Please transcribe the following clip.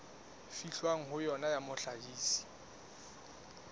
fihlwang ho yona ya mohlahisi